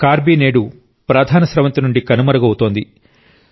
కార్బీ నేడు ప్రధాన స్రవంతి నుండి కనుమరుగవుతోంది